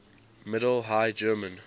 middle high german